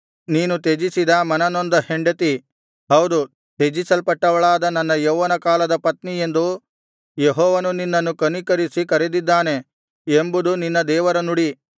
ನೀನು ತ್ಯಜಿಸಿದ ಮನನೊಂದ ಹೆಂಡತಿ ಹೌದು ತ್ಯಜಿಸಲ್ಪಟ್ಟವಳಾದ ನನ್ನ ಯೌವನಕಾಲದ ಪತ್ನಿ ಎಂದು ಯೆಹೋವನು ನಿನ್ನನ್ನು ಕನಿಕರಿಸಿ ಕರೆದಿದ್ದಾನೆ ಎಂಬುದು ನಿನ್ನ ದೇವರ ನುಡಿ